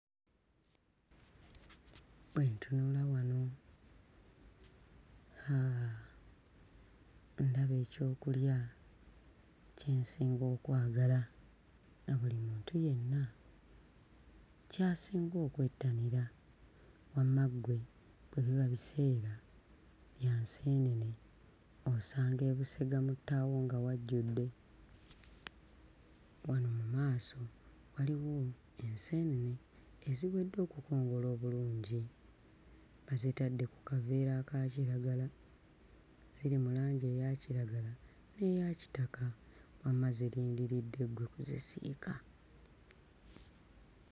Bwe ntunula wano ndaba ekyokulya kye nsinga okwagala na buli muntu yenna ky'asinga okwettanira. Wamma ggwe bwe biba biseera bya nseenene osanga e Busega mu ttaawo nga wajjudde. Wano mu maaso waliwo enseenene eziwedde okukongola obulungi, bazitadde ku kaveera aka kiragala. Ziri mu langi eya kiragala n'eya kitaka, wamma zirindiridde ggwe kuzisiika.